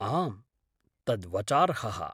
आम्, तद् वचार्हः।